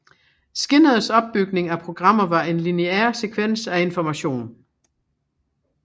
Skinners opbygning af programmer var en lineær sekvens af information